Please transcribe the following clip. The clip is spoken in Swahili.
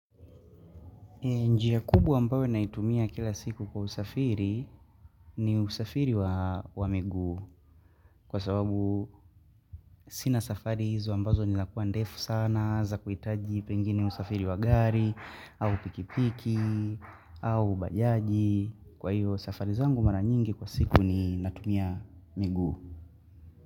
Njia kubwa ambayo naitumia kila siku kwa usafiri ni usafiri wa miguu kwa sababu sina safari hizo ambazo ni la kuwa ndefu sana za kuitaji pengine usafiri wa gari au pikipiki au bajaji kwa hiyo safari zangu mara nyingi kwa siku ninatumia migu.